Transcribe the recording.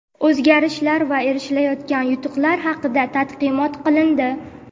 o‘zgarishlar va erishilayotgan yutuqlar haqida taqdimot qilindi.